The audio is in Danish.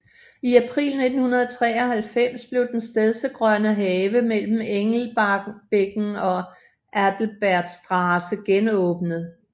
I april 1993 blev den Stedsegrønne Have mellem Engelbecken og Adalbertstraße genåbnet